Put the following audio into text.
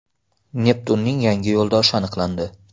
Neptunning yangi yo‘ldoshi aniqlandi.